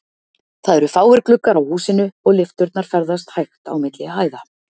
Það eru fáir gluggar í húsinu, og lyfturnar ferðast hægt á milli hæða.